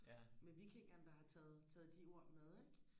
med vikingerne der har taget taget de ord med ikke